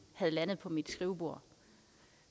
var landet på mit skrivebord